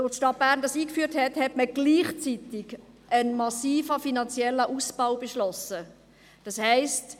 Als die Stadt Bern dies einführte, beschloss man gleichzeitig einen massiven finanziellen Ausbau, das heisst: